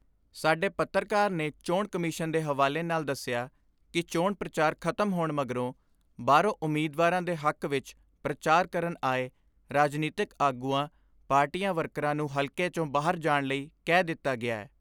ਸਾਡੇ ਪੱਤਰਕਾਰ ਨੇ ਚੋਣ ਕਮਿਸ਼ਨ ਦੇ ਹਵਾਲੇ ਨਾਲ ਦਸਿਆ ਕਿ ਚੋਣ ਪ੍ਰਚਾਰ ਖਤਮ ਹੋਣ ਮਗਰੋਂ ਬਾਹਰੋਂ, ਉਮੀਦਵਾਰਾਂ ਦੇ ਹੱਕ ਵਿ ਪ੍ਰਚਾਰ ਕਰਨ ਆਏ ਰਾਜਨੀਤਕ ਆਗੂਆਂ, ਪਾਰਟੀ ਵਰਕਰਾਂ ਨੂੰ ਹਲਕੇ ਚੋਂ ਬਾਹਰ ਜਾਣ ਲਈ ਕਹਿ ਦਿੱਤਾ ਗਿਐ।